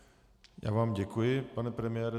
Já vám děkuji, pane premiére.